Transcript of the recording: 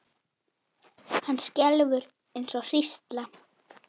Hann skelfur eins og hrísla.